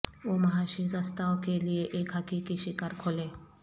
وہ مہاشی گستاو کے لئے ایک حقیقی شکار کھولیں